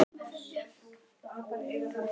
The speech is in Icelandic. En ég man öll nöfn.